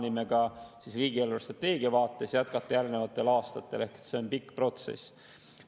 Nii me plaanime riigi eelarvestrateegia vaates jätkata ka järgnevatel aastatel ehk see on pikk protsess.